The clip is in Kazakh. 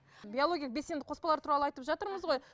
биологиялық белсенді қоспалар туралы айтып жатырмыз ғой